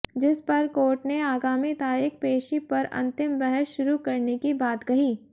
जिस पर कोर्ट ने आगामी तारीख पेशी पर अंतिम बहस शुरू करने की बात कही